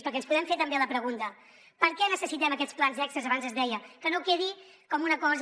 perquè ens podem fer també la pregunta per què necessitem aquests plans extres abans es deia que no quedi com una cosa